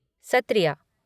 Sattriya